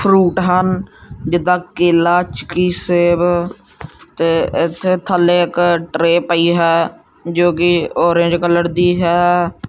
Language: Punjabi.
ਫਰੂਟ ਹਨ ਜਿੱਦਾਂ ਕੇਲਾ ਚਿਕੀ ਸੇਬ ਤੇ ਇੱਥੇ ਥੱਲੇ ਇਕ ਟ੍ਰੇ ਪਈ ਹੈ ਜੋ ਕਿ ਔਰੇਜ ਕਲਰ ਦੀ ਹੈ।